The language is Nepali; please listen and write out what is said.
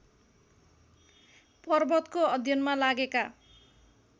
पर्वतको अध्ययनमा लागेका